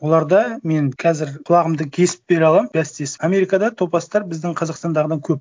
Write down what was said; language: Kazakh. оларда мен қазір құлағымды кесіп бере аламын бәстесіп америкада топастар біздің қазақстандағыдан көп